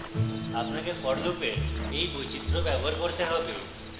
আপনাকে for loop এর you বৈচিত্র ব্যবহার করতে হবে